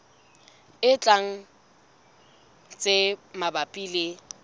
e tlang tse mabapi le